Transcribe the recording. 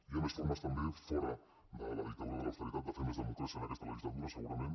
hi ha més formes també fora de la dictadura de l’austeritat de fer més democràcia en aquesta legislatura segurament